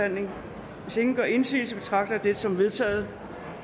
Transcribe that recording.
til ingen gør indsigelse betragter jeg dette som vedtaget